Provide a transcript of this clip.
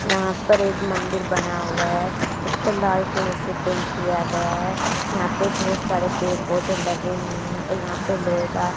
यहां पर एक मंदिर बना हुआ है इस पर लाल कलर से पेंट किया गया है यहां पे बहुत सारे पेड़ पौधे लगे हुए हैं और यहां पे लोहे का--